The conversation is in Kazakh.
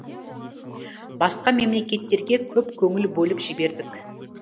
басқа мемлекеттерге көп көңіл бөліп жібердік